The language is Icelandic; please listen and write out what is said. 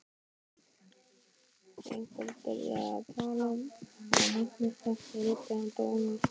Einhver byrjaði að tala og Magnús þekkti rödd dómsmálaráðherrans.